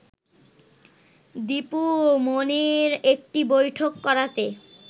দীপু মনির একটি বৈঠক করাতে